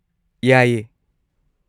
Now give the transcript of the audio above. ꯌꯥꯏꯌꯦ꯫